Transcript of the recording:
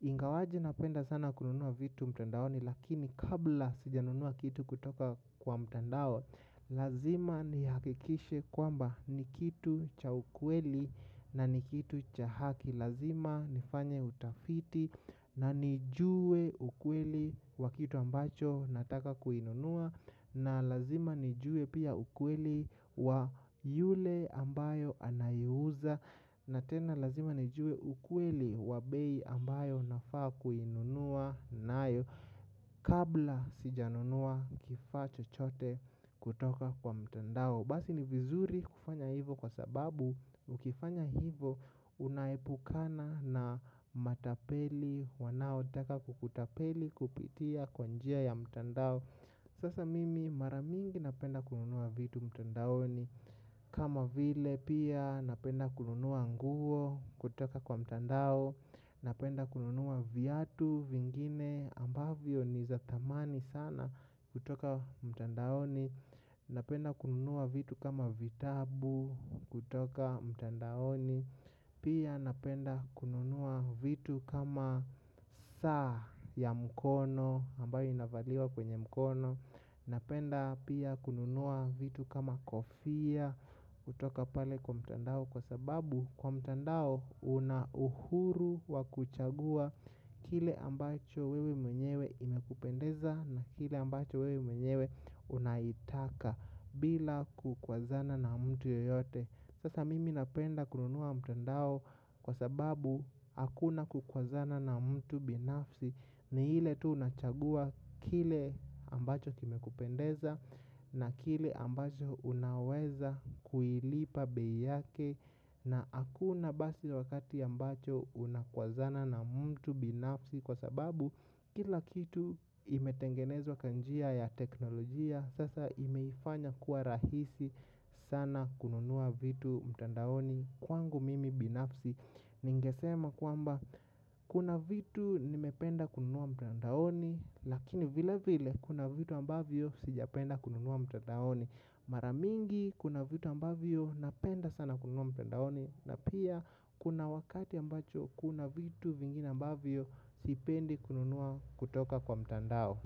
ingawaje napenda sana kununua vitu mtandaoni. Lakini kabla sijanunua kitu kutoka kwa mtandao. Lazima nihakikishe kwamba ni kitu cha ukweli na ni kitu cha haki. Lazima nifanye utafiti na nijue ukweli wa kitu ambacho nataka kukinunua. Na lazima nijue pia ukweli wa yule ambaye anauza na tena lazima nijue ukweli wa bei ambayo nafaa kununua nayo kabla sijanunua kifaa chochote kutoka kwa mtandao basi ni vizuri kufanya hivo kwa sababu ukifanya hivo unaepukana na matapeli wanaotaka kukutapeli kupitia kwa njia ya mtandao sasa mimi mara mingi napenda kununua vitu mtandaoni. Kama vile pia napenda kununua nguo kutoka kwa mtandao. Napenda kununua viatu vingine ambavyo ni za thamani sana kutoka mtandaoni. Napenda kununua vitu kama vitabu kutoka mtandaoni. Pia napenda kununua vitu kama saa ya mkono ambayo inavaliwa kwenye mkono. Napenda pia kununua vitu kama kofia kutoka pale kwa mtandao kwa sababu kwa mtandao una uhuru wa kuchagua kile ambacho wewe mwenyewe inakupendeza na kile ambacho wewe mwenyewe unaitaka bila kukwazana na mtu yeyote. Sasa mimi napenda kununua kwa mtandao kwa sababu hakuna kukwazana na mtu binafsi ni ile tu unachagua kile ambacho kimekupendeza na kile ambacho unaweza kuilipa bei yake na hakuna basi wakati ambapo unakwazana na mtu binafsi kwa sababu kila kitu imetengenezwa kwa njia ya teknolojia. Sasa imeifanya kuwa rahisi sana kununua vitu mtandaoni. Kwangu mimi binafsi ningesema kwamba kuna vitu nimependa kununua mtandaoni. Lakini vile vile kuna vitu ambavyo sijapenda kununua mtandaoni. Mara mingi kuna vitu ambavyo napenda sana kununua mtandaoni. Na pia kuna wakati ambapo kuna vitu vingina ambavyo sipendi kununua kutoka kwa mtandao.